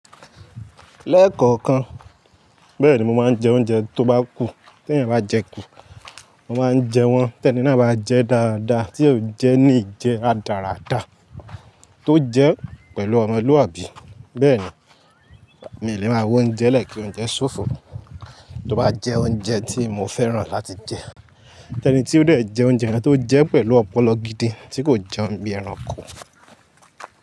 Lẹ́kọ̀ọ̀kan, bẹ́ẹ̀ ni mo máa ń jẹ oúnjẹ tó bá kù, tí ẹ̀yin bá jẹ kú, mo máa ń jẹ wọ́n, tẹ́ni náà bá jẹ dáadáa, tí ó jẹ ni ìjẹ radàràda, tó jẹ pẹ̀lú ọmọlúwàbí, bẹ́ẹ̀ ni. Mi ò lè máa wo oúnjẹ lẹ̀ kí oúnjẹ ṣófo, tó bá jẹ oúnjẹ tí mo fẹ́ràn láti jẹ. Tẹ́ni tí ó lè jẹ oúnjẹ náà tó jẹ pẹ̀lú ọpọlọ gidi tí kò jẹun bí ẹranko.